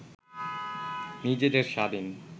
নিজেদের স্বাধীন